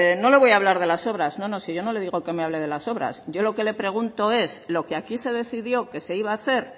no le voy a hablar de las obras no no si yo no le digo que me hable de las obras yo lo que le pregunto es lo que aquí se decidió que se iba a hacer